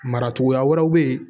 Mara cogoya wɛrɛw bɛ yen